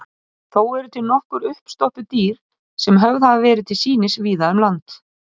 Þessa nýju tækni má nota með ýmsum hætti til að finna áttirnar.